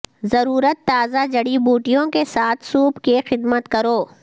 ضرورت تازہ جڑی بوٹیوں کے ساتھ سوپ کی خدمت کرو